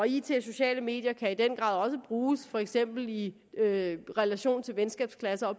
it og sociale medier kan i den grad også bruges for eksempel i relation til venskabsklasser